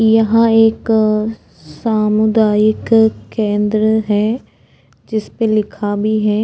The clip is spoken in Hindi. यहाँ एक सामुदायिक केंद्र है जिसपे लिखा भी है।